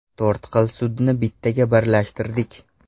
To‘rt xil sudni bittaga birlashtirdik.